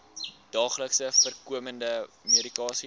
daagliks voorkomende medikasie